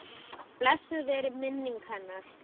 Blessuð veri minning hennar.